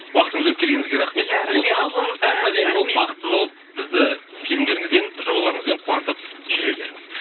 уақытыңызды бөліп келгеніңізге рахмет осылай әп әдемі болып бақытты болып бізді фильмдеріңізбен жобаларыңызбен қуантып жүре беріңіз